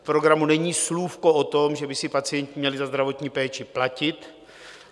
V programu není slůvko o tom, že by si pacienti měli za zdravotní péči platit.